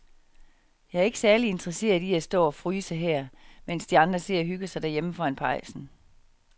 Jeg er ikke særlig interesseret i at stå og fryse her, mens de andre sidder og hygger sig derhjemme foran pejsen.